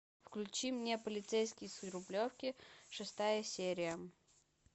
включи мне полицейский с рублевки шестая серия